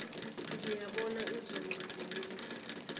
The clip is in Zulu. ngiyibone izolo inginesa